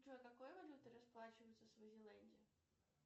джой какой валютой расплачиваются в свазиленде